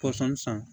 Pɔsɔn san